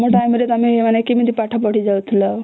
ତମ ଟାଇମ ରେ ତମେ କେମିତି ପାଠ ପଢି ଯାଉଥିଲା